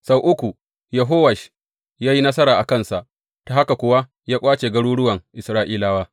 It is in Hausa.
Sau uku Yehowash ya yi nasara a kansa, ta haka kuwa ya ƙwace garuruwan Isra’ilawa.